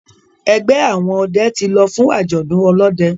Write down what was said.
ẹgbẹ àwọn òde tí ló fún ajọdun olóde.